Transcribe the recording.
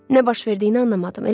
Nə baş verdiyini anlamadım.